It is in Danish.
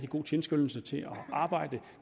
god tilskyndelse til at arbejde